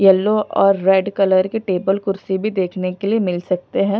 Yellow और red colour के table कुर्सी भी देखने के लिए मिल सकते हैं।